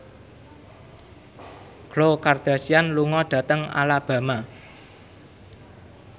Khloe Kardashian lunga dhateng Alabama